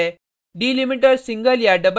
दूसरा अरै है